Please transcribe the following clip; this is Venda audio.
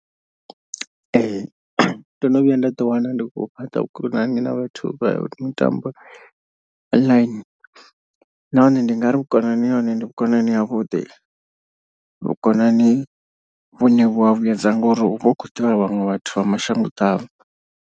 Ee ndo no vhuya nda ḓi wana ndi khou fhaṱa vhukonani na vhathu vha mitambo online. Nahone ndi ngari vhukonani ha hone ndi vhukonani havhuḓi. Vhukonani vhune vhu a vhuedza ngori uvha u khou ḓivha vhaṅwe vhathu vha mashango ḓavha.